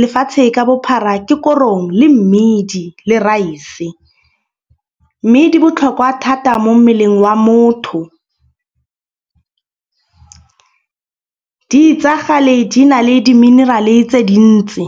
lefatshe ka bophara. Ke korong le mmidi le raese. Mme di botlhokwa thata mo mmeleng wa motho. Di itsagale di na le di-mineral-e tse dintsi.